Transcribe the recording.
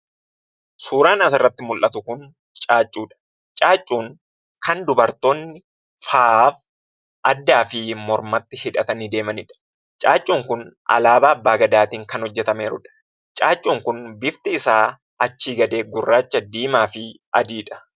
Suuraan asirratti mullatu kun caaccuudha. Caaccuun kan dubartoonni faayaaf addaafi mormatti hidhatanii deemanidha. Caaccuun kun alaabaa abbaa gadaatiin kan hojjetameerudha. Caaccuun kun bifti isaa achii gadee gurraacha, diimaafi adiidha.